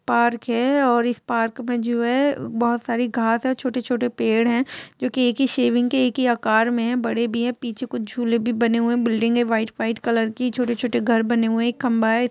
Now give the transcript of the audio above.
Park है और इस पार्क में जो है बहुत सारी घास है छोटे-छोटे पेड़ है जो कि एक ही शैविंग के एक ही आकार में है बड़े भी है पीछे कुछ झूले भी बने हुए है बिल्डिंग है व्हाइट व्हाइट कलर की छोटे छोटे घर बने हुए है एक खंबा है।